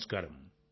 నమస్కారం